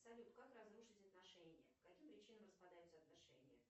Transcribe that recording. салют как разрушить отношения по каким причинам распадаются отношения